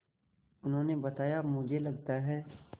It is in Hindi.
उन्होंने बताया मुझे लगता है